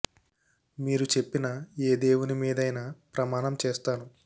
మీరు చెప్పిన ఏ దేవుని మీదైనా ప్రమాణం చేస్తాను